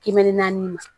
Kiliniki naani